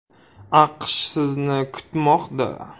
“AQSh sizni kuzatmoqda”.